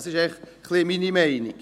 Dies ist meine Meinung.